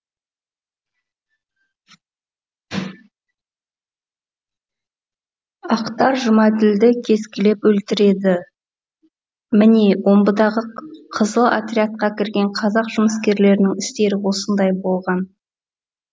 ақтар жұмаділді кескілеп өлтіреді міне омбыдағы қызыл отрядқа кірген қазақ жұмыскерлерінің істері осындай болған